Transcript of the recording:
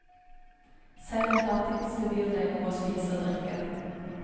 Selv den fattigste byr deg noe å spise og drikke.